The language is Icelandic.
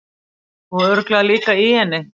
Og örugglega líka í henni.